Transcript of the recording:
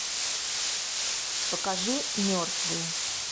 покажи мертвые